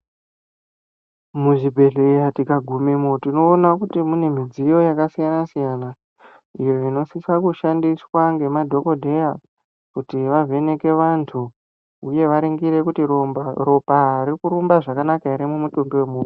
Muzvibhedhleya tikagumemo tinoona kuti mune midziyo yakasiyana siyana iyo inosisa kushandisaa ngemadhokodheya kuti vavheneke vanhtu uye varingire kuti ropa riri kurumba zvakanaka ere mumutumbi wemuntu.